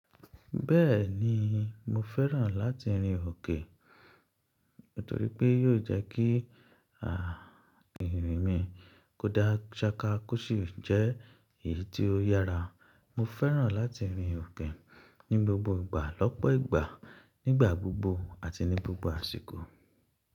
Bẹ́ẹ̀ni, mo fẹ́ràn láti rin òkè, nítorí pé yóò jẹ́ kí àh irin mi kó dá ṣákà kọ́ sì jẹ́ èyí tí ó yára. Mo fẹ́ràn láti rin òkè ní gbogbo ìgbà lọ́pọ̀ ìgbà, nígbà gbogbo àti ní gbogbo àsìkò.